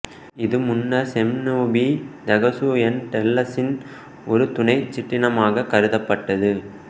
இது முன்னர் செம்னோபிதேகசு என்டெல்லசின் ஒரு துணைச் சிற்றினமாகக் கருதப்பட்டது